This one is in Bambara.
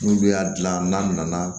N'olu y'a dilan n'a nana